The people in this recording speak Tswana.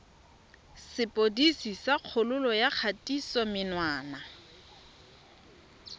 sepodisi sa kgololo ya kgatisomenwa